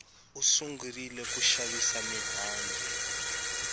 u sungurile ku xavisa mihandzu